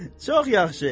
Çox yaxşı.